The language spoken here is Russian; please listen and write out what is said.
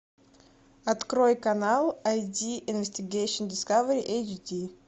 открой канал ай ди инвестигейшн дискавери эйч ди